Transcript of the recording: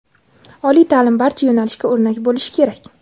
oliy ta’lim barcha yo‘nalishga o‘rnak bo‘lishi kerak.